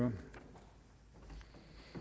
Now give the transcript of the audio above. er